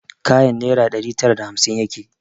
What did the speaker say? Kayan naira ɗari tara da hamsin yake